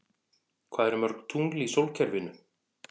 Hvað eru mörg tungl í sólkerfinu?